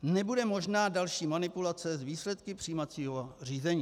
Nebude možná další manipulace s výsledky přijímacího řízení.